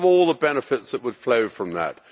Think of all the benefits that would flow from that.